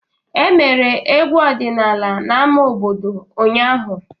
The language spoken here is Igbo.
E mere egwu ọdịnala n'ámá obodo ụnyahụ.